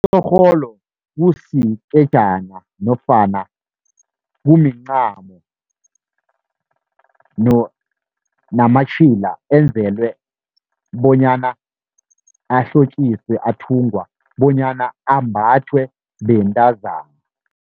Itjhorholo kusikhedana nofana kumincamo namatjhila, enzelwe bonyana ahlotjiswe, athungwa bonyana ambathwe bentazana.